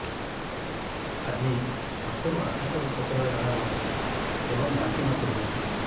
ଆଜି ସାତରୁ ଆଠ ଥର ପତଳା ଝାଡ଼ା ହୋଇଛି ଏବଂ ବାନ୍ତି ମଧ୍ୟ ହେଇଛି